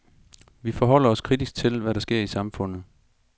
Vi forholder os kritisk til, hvad der sker i samfundet.